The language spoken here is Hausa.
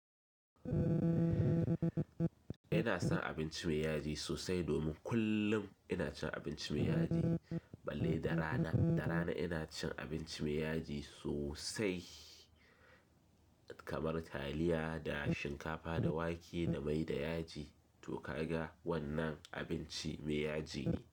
Ina son abinci mai yaji sosai domin kullum ina cin abinci mai yaji balle da rana. Da rana ina cin abinci mai yaji sosai kamar taliya da shinkafa da wake da mai da yaji to ka ga wannan abinci mai yaji.